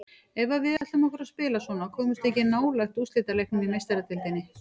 Ef að við ætlum okkur að spila svona komumst við ekki nálægt úrslitaleiknum í Meistaradeildinni.